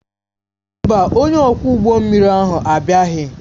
Mba, onye ọkwọ ụgbọ mmiri ahụ abịaghị